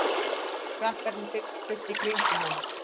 Krakkarnir þyrptust í kringum hana.